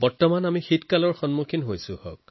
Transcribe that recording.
এতিয়া আমি শীতকালত প্ৰৱেশ কৰিছো